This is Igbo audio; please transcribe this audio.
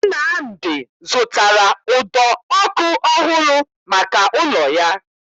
Nnamdi zụtara ụdọ ọkụ ọhụrụ maka ụlọ ya